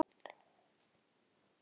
Næstum því sveit.